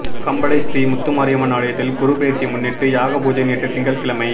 கம்பளை ஸ்ரீ முத்துமாரியம்மன் ஆலயத்தில் குருபெயர்ச்சியினை முன்னிட்டு யாக பூஜை நேற்று திங்கட் கிழமை